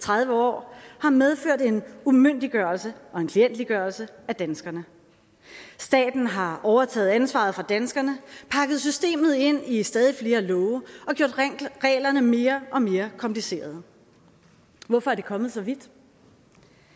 tredive år har medført en umyndiggørelse og en klientgørelse af danskerne staten har overtaget ansvaret fra danskerne pakket systemet ind i stadig flere love og gjort reglerne mere og mere komplicerede hvorfor er det kommet så vidt